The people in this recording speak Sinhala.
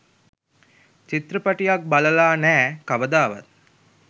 චිත්‍රපටියක් බලලා නෑ කවදාවත්.